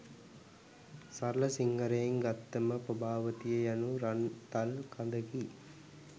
සරල සිංහලයෙන් ගත්තම පබාවතිය යනු රන් තල් කඳකි.